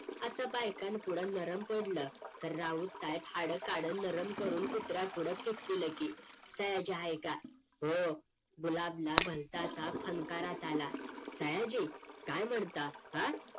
असं बायकांन पुढं नरम पडल तर रावेत साहेब हाड काढल नरम करून कुत्र्या पुढं फेकतील की सयाची आहे का हो गुलाबना भलता असा फणकारात आला सयाजी काय म्हणता हा